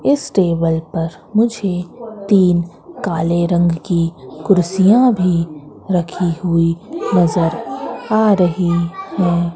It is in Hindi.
इस टेबल पर मुझे तीन काले रंग की कुर्सियां भी रखी हुई नजर आ रही हैं।